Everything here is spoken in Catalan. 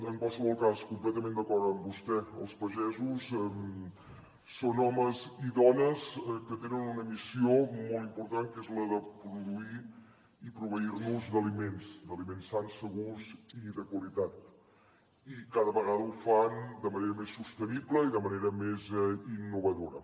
en qualsevol cas completament d’acord amb vostè els pagesos són homes i dones que tenen una missió molt important que és la de produir i proveir nos d’aliments d’aliments sans segurs i de qualitat i cada vegada ho fan de manera més sostenible i de manera més innovadora